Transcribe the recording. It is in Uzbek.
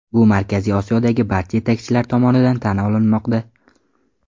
Bu Markaziy Osiyodagi barcha yetakchilar tomonidan tan olinmoqda.